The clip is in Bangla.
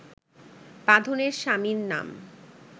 বাঁধনের স্বামীর নাম